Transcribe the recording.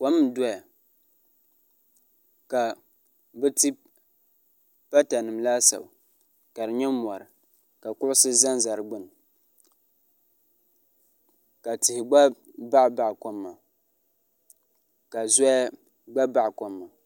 ko n doya ka ti patanim laasabu kari nyɛ mɔri ka kusi zaŋ zaŋ di gbani la tihi gba baɣ' baɣ' kom maa ka zuya gba baɣ' kom maa